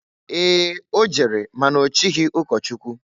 Ee! O jere ma na ochighi ụkọchụkwụ.